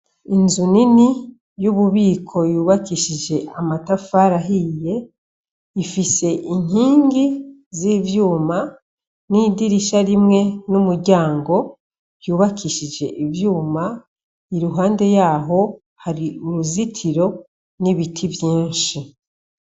Inzu nini yububiko yubakishije amatafari ahiye ifise inkingi zivyuma n'idirisha rimwe n'umuryango vyubakishije ivyuma iruhande yaho hari uruzitiro n'ibiti vyinshi.